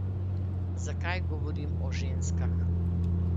Zakaj govorim o ženskah?